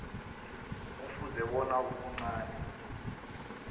kufuze bona ubuncani